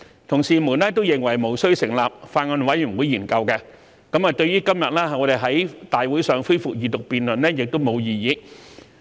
同事們都認為無須成立法案委員會研究，對於今天我們在立法會會議上恢復二讀辯論亦無異議。